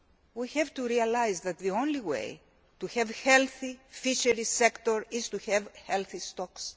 We have to realise that the only way to have a healthy fisheries sector is to have healthy stocks.